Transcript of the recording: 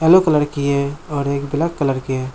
Yellow colour की है और एक ब्लैक कलर की है।